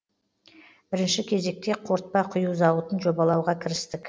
бірінші кезекте қортпа құю зауытын жобалауға кірістік